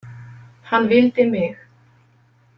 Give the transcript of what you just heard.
Hann vildi mig.